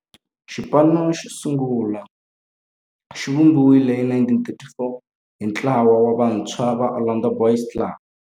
Xipano xosungula xivumbiwile hi 1934 hi ntlawa wa vantshwa va Orlando Boys Club.